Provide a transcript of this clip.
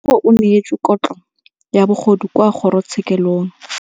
Rragwe o neetswe kotlhaô ya bogodu kwa kgoro tshêkêlông.